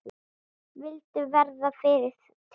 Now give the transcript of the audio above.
Vildu verða fyrri til.